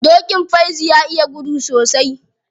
Dokin Faizu ya iya gudu sosai.